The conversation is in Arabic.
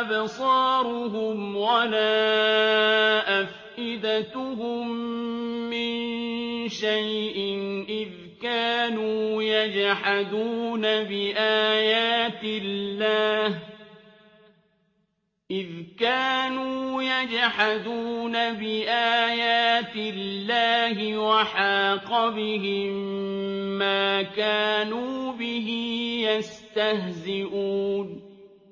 أَبْصَارُهُمْ وَلَا أَفْئِدَتُهُم مِّن شَيْءٍ إِذْ كَانُوا يَجْحَدُونَ بِآيَاتِ اللَّهِ وَحَاقَ بِهِم مَّا كَانُوا بِهِ يَسْتَهْزِئُونَ